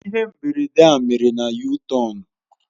Ihe mberede a mere na yutọonu.